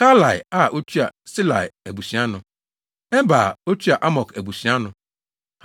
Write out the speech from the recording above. Kalai a otua Salai abusua ano. Eber a otua Amok abusua ano.